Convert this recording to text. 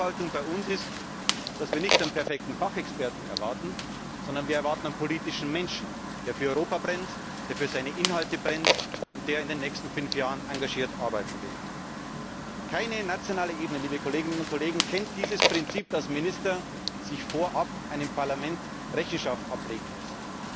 Die Erwartungshaltung bei uns ist nicht, dass wir einen perfekten Fachexperten erwarten, sondern wir erwarten einen politischen Menschen, der für Europa brennt, der für seine Inhalte brennt und der in den nächsten fünf Jahren engagiert arbeiten will. Keine nationale Ebene kennt dieses Prinzip, dass Minister vorab einem Parlament Rechenschaft ablegen müssen.